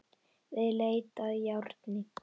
Við leit að járni